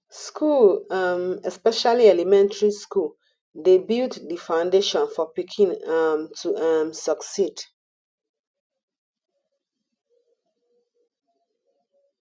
school um especially elementry school dey build di foundation for pikin um to um succeed